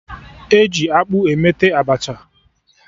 E ji akpụ emeta Abacha